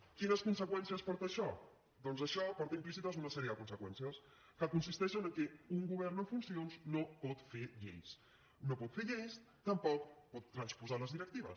quines conseqüències porta això doncs això porta implícites una sèrie de conseqüències que consisteixen en el fet que un govern en funcions no pot fer lleis no pot fer lleis tampoc pot transposar les directives